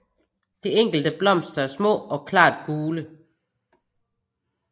De enkelte blomster er små og klart gule